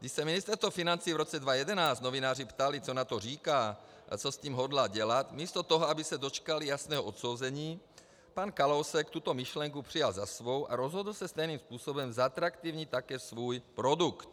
Když se Ministerstva financí v roce 2011 novináři ptali, co na to říká a co s tím hodlá dělat, místo toho, aby se dočkali jasného odsouzení, pan Kalousek tuto myšlenku přijal za svou a rozhodl se stejným způsobem zatraktivnit také svůj produkt.